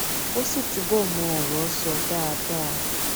kó sì túbò mọ òrò sọ dáadáa